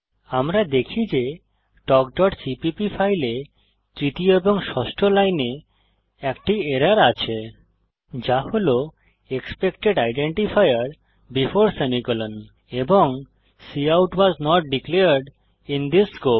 আমরা দেখি যে talkসিপিপি ফাইলে তৃতীয় এবং ষষ্ঠ লাইনে একটি এরর আছে যা হল এক্সপেক্টেড আইডেন্টিফায়ার বেফোর সেমিকোলন এবং cout was not declared in this scope